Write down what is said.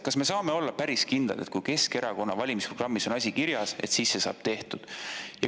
Kas me saame olla päris kindlad, et kui Keskerakonna valimisprogrammis on asi kirjas, siis see saab tehtud?